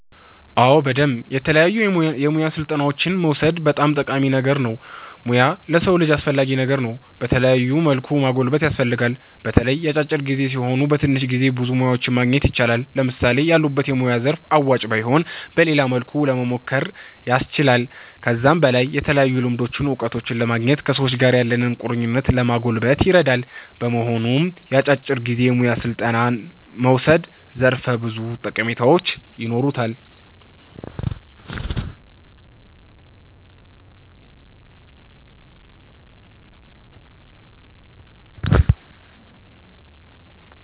አዎ በደምብ የተለያዩ የሙያ ስልጠናዎችን መዉሰድ በጣም ጠቃሚ ነገር ነዉ ሙያ ለሰዉ ልጅ አስፈላጊ ነገር ነዉ በተለያዩ መልኩ ማጎልበት ያስፈልጋል። በተለይ የአጫጭር ጊዜ ሲሆኑ በትንሽ ጊዜ ብዙ ሙያዎችን ማግኘት ይቻላል። ለምሳሌ ያሉበት የሙያ ዘርፍ አዋጭ ባይሆን በሌላ መልኩ ለሞሞከር ያስችላል። ከዛም በላይ የተለያዩ ልምዶችን እዉቀቶችን ለማግኘት ከሰዎች ጋር ያለንን ቁርኝት ለማጎልበት ይረዳል። በመሆኑም የአጫጭር ጊዜ የሙያ ስልጠና መዉሰድ ዘርፈ ብዙ ጠቀሜታዎች ይኖሩታል